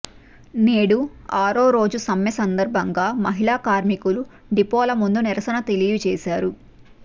నేడు ఆరోరోజు సమ్మె సందర్భంగా మహిళా కార్మికులు డిపోల ముందు నిరసన తెలియజేశారు